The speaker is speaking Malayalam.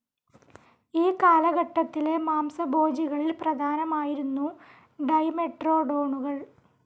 ഈ കാലഘട്ടത്തിലെ മാംസഭോജികളിൽ പ്രധാനമായിരുന്നു ഡൈമെട്രോഡോണുകൾ.